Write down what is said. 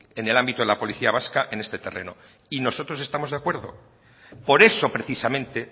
en el ámbito de la policía vasca en este terreno y nosotros estamos de acuerdo por eso precisamente